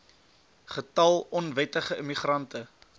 getal onwettige immigrante